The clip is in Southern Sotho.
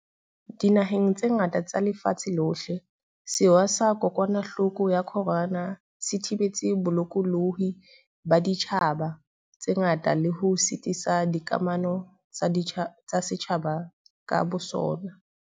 Dinaheng tse ngata tsa lefatshe lohle, sewa sa kokwanahloko ya corona se thibetse bolokolohi ba ditjhaba tse ngata le ho sitisa dikamano tsa setjhaba ka bosona.